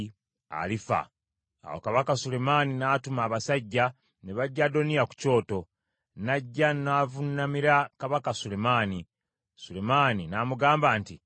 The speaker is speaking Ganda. Awo Kabaka Sulemaani n’atuma abasajja, ne baggya Adoniya ku kyoto. N’ajja n’avuunamira kabaka Sulemaani, Sulemaani n’amugamba nti, “Weddireyo ewuwo.”